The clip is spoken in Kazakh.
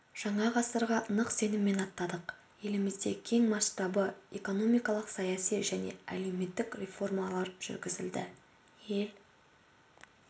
жаңа ғасырға нық сеніммен аттадық елімізде кең масштабты экономикалық саяси және әлеуметтік реформалар жүргізілді ел